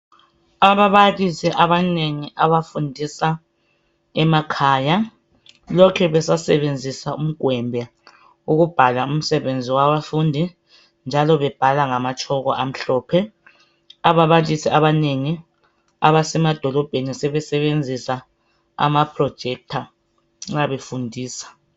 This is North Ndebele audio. Ababalisi abanengi abafundisa emakhaya lokhe besasebenzisa umgwembe ukubhala umsebenzi wabafundi njalo bebhala ngamatshoko amhlophe ababalisi abanengi abasemadolobheni sebesenzisa amaprojector nxa befundisa.